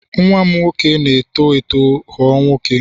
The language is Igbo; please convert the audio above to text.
nwa m nwoke na-eto eto ghọọ nwoke